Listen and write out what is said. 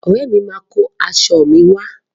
Ọ̀rẹ́ mi máa kó aṣọ mi wá.